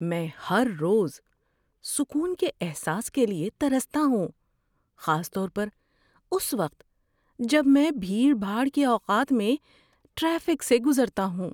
میں ہر روز سکون کے احساس کے لیے ترستا ہوں، خاص طور پر اس وقت جب میں بھیڑ بھاڑ کے اوقات میں ٹریفک سے گزرتا ہوں۔